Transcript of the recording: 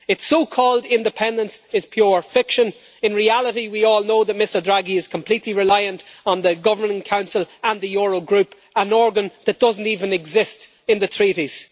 Its so-called independence is pure fiction. In reality, we all know that Mr Draghi is completely reliant on the Governing Council and the Eurogroup, an organ that doesn't even exist in the treaties.